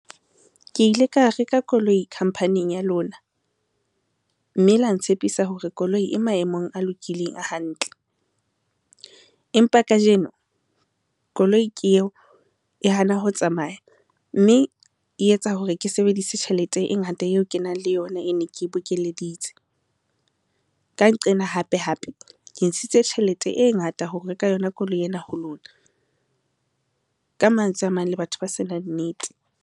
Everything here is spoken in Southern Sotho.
Ke ile ka reka koloi khampaneng ya lona, mme la ntshepisa hore koloi e maemong a lokileng a hantle. Empa kajeno koloi ke eo e hana ho tsamaya mme e etsa hore ke sebedise tjhelete e ngata eo ke nang le yona e ne ke bokelleditse. Ka nqena hape hape, ke ntshitse tjhelete e ngata ho reka yona koloi ena ho lona. Ka mantswe a mang le batho ba senang nnete.